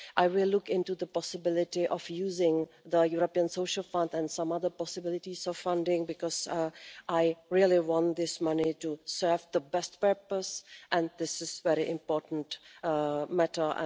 I will look into the possibility of using the European Social Fund and some other funding possibilities because I really want this money to serve the best purpose and this is a very important matter.